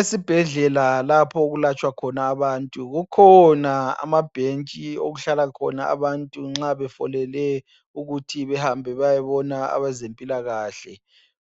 Esibhedlela lapho okulatshwa khona abantu kukhona amabhentshi okuhlala khona abantu nxa befolele ukuthi behambe beyebona abezempilakahle